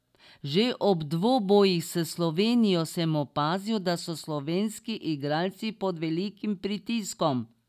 Že ob dvobojih s Slovenijo sem opazil, da so slovenski igralci pod velikim pritiskom.